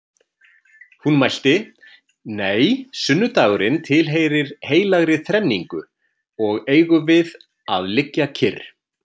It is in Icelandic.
Hún mælti: Nei, sunnudagurinn tilheyrir heilagri þrenningu og eigum við að liggja kyrr